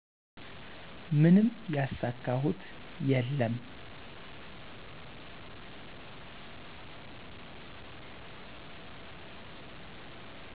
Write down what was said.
ምንም ያሳካሁት የለም